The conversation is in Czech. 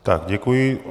Tak děkuji.